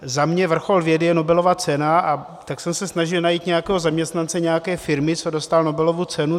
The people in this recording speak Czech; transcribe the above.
Za mě vrchol vědy je Nobelova cena, a tak jsem se snažil najít nějakého zaměstnance nějaké firmy, co dostal Nobelovu cenu.